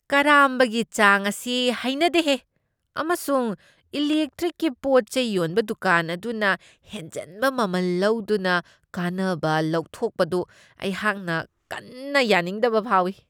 ꯀꯔꯥꯝꯕꯒꯤ ꯆꯥꯡ ꯑꯁꯤ ꯍꯩꯅꯗꯦꯍꯦ, ꯑꯃꯁꯨꯡ ꯏꯂꯤꯛꯇ꯭ꯔꯤꯛꯀꯤ ꯄꯣꯠ ꯆꯩ ꯌꯣꯟꯕ ꯗꯨꯀꯥꯟ ꯑꯗꯨꯅ ꯍꯦꯟꯖꯟꯕ ꯃꯃꯜ ꯂꯧꯗꯨꯅ ꯀꯥꯟꯅꯕ ꯂꯧꯊꯣꯛꯄꯗꯨ ꯑꯩꯍꯥꯛꯅ ꯀꯟꯅ ꯌꯥꯅꯤꯡꯗꯕ ꯐꯥꯎꯢ꯫